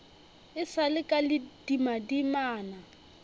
e sa le ka ledimadimana